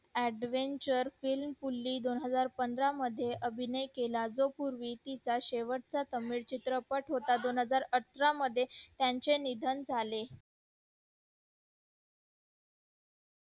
adventure film दोन हजार पंधरा मध्ये अभिनव केला तो पूर्वी तिचा शेवटचा चित्रपट होता दोन हजार अठरा मध्ये त्याचे निधन झाले